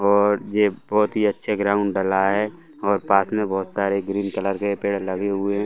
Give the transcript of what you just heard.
और ये बहोत ही अच्छे ग्राउंड डला है और पास में बहोत सारे ग्रीन कलर के पेड़ लगे हुए हैं।